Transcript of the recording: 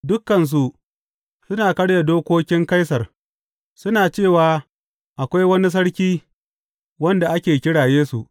Dukansu suna karya dokokin Kaisar, suna cewa akwai wani sarki, wanda ake kira Yesu.